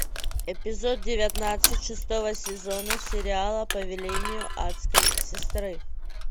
эпизод девятнадцать шестого сезона сериала по велению адской сестры